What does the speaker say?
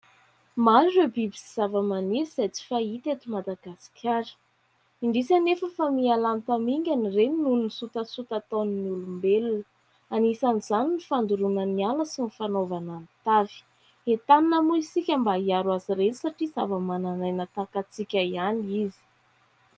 Maro ireo biby sy zavamaniry izay tsy fahita eto Madagasikara. Indrisy anefa fa mihalany tamingana ireny noho ny sotasota ataon'ny olombelona. Anisan'izany ny fandoroana ny ala sy ny fanaovana ny tavy. Etanina moa isika mba hiaro azy ireny satria zava-manan'aina tahaka antsika ihany izy.